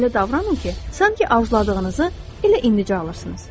Elə davranın ki, sanki arzuladığınızı elə indicə alırsınız.